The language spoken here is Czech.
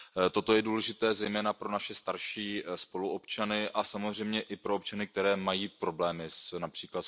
Toto je důležité zejména pro naše starší spoluobčany a samozřejmě i pro občany, kteří mají problémy např.